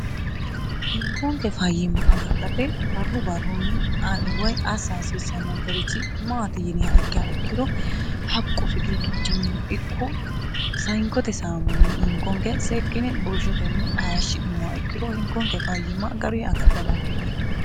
hinkoonke fayiimma agadhate barru barrunni e assa hasiissannonkerichi maati yiniha ikkeha ikkiro haqqu fiqiiqichinnino ikko hinkote saamuni hinkonke seekkine burshotenni ayeeshshi'nummowa ikkiro hinkoonke fayyimma garu agadha dandiineemmo